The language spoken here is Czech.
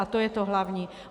A to je to hlavní.